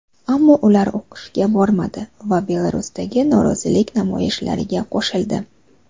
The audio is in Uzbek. Ammo ular o‘qishga bormadi va Belarusdagi norozilik namoyishlariga qo‘shildi.